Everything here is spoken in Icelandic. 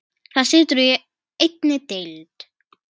Það situr í einni deild.